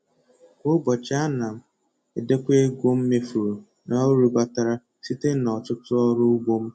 Kwa ụbọchị ana m edekọ ego mmefuru na uru batara site na ọtụtụ ọrụ ugbo m